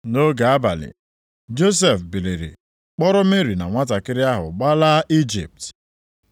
Nʼoge abalị, Josef biliri kpọrọ Meri na nwantakịrị ahụ gbalaa Ijipt.